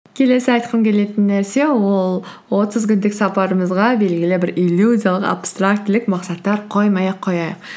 келесі айтқым келетін нәрсе ол отыз күндік сапарымызға белгілі бір иллюзиялық абстрактілік мақсаттар қоймай ақ қояйық